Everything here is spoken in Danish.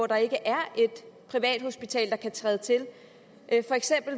der ikke er et privathospital der kan træde til